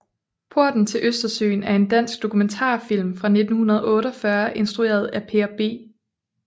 Porten til Østersøen er en dansk dokumentarfilm fra 1948 instrueret af Per B